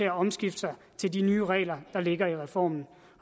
at omstille sig til de nye regler der ligger i reformen